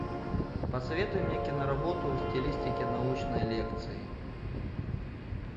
посоветуй мне киноработу в стилистике научной лекции